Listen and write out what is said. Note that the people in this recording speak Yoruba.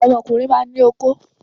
Ọmọkùnrin máa ń ní okó.